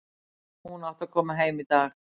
Hún átti að koma heim í dag.